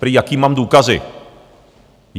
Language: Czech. Prý, jaké mám důkazy.